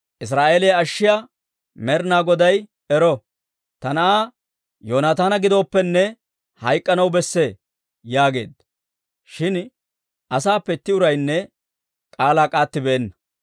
Israa'eeliyaa ashshiyaa Med'inaa Goday ero! Ta na'aa Yoonataana gidooppenne, hayk'k'anaw besse» yaageedda. Shin asaappe itti uraynne k'aalaa k'aattibeenna.